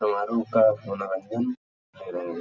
समारोह का मुनाज़ीम --